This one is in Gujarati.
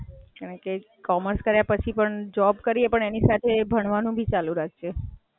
ના commerce ની પણ લાઇન સરસ છે, commerce માં પણ ખાસી બધી લાઈનો છે પણ તું graduation કરીને આગળ પછી line સારી choose કરી અને continue રાખજે ભણવાનું.